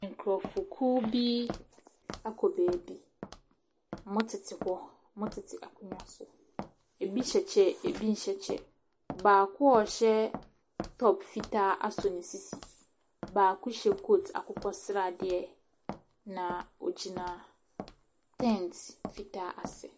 Nkorɔfo kuo bi akɔ baabi, ɔmo tete hɔ, ɔmo tete akonwa so. Ebi hyɛ kyɛ, ebi nhyɛ kyɛ. Baako a ɔhyɛ tɔp fitaa asɔ ne sisi, baako hyɛ koot akokɔ sradeɛ, na ɔgyina tɛnt fitaa ase.